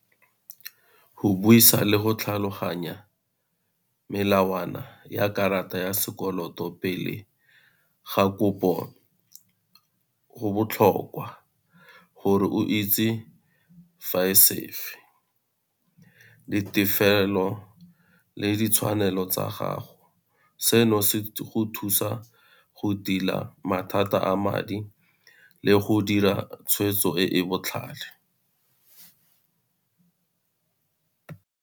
Go buisa le go tlhaloganya melawana ya karata ya sekoloto pele ga kopo go botlhokwa, gore o itse le tefelo le ditshwanelo tsa gago. Seno se go thusa go tila mathata a madi le go dira tshweetso e e botlhale.